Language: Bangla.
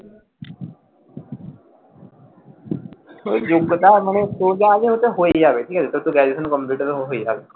যোগ্যতা মানে তোর যা আছে হয়ে যাবে ঠিক আছে তোর তো Graduation complete হয়ে যাবে,